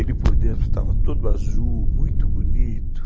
Ele por dentro estava todo azul, muito bonito.